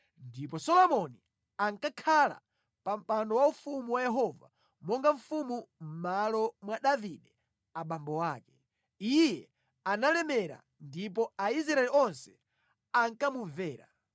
Ndipo Solomoni ankakhala pa mpando waufumu wa Yehova monga mfumu mʼmalo mwa Davide abambo ake. Iye analemera ndipo Aisraeli onse ankamumvera.